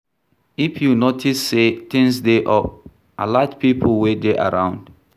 If you notice sey things dey off, alert pipo wey dey around